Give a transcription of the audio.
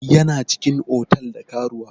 Yana cikin otal da karuwa.